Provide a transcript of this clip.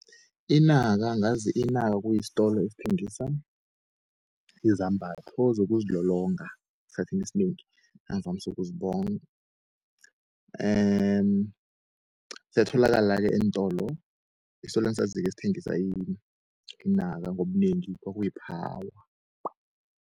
Inaka, ngazi inaka kuyistolo ezithengisa izambatho zokuzilolonga eskhathini, esinengi engivamsu ukuzibona siyatholakala-ke eentolo, istolweni engisaziko esithengisa inaka ngobunengi kwakuyiPhawa.